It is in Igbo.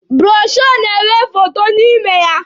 Bụrọshoo na-enwe foto n'ime ya.